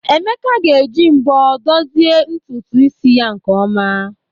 Emeka ga-eji mbọ dozie ntutu isi ya nke ọma.